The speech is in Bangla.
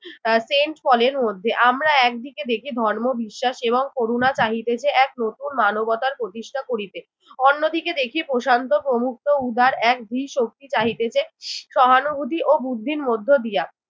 আহ সেন্ট পলের মধ্যে। আমরা একদিকে দেখি ধর্মবিশ্বাস এবং করুণা চাহিতেছে এক নতুন মানবতার প্রতিষ্ঠা করিতে। অন্যদিকে দেখি প্রশান্ত প্রমুক্ত উদার এক ধীশক্তি চাহিতেছে সহানুভূতি ও বুদ্ধির মধ্য দিয়া